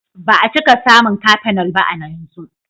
Ba a cika samun cafenol ba a yanzu.